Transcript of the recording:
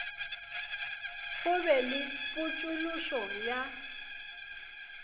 go be le potšološo ya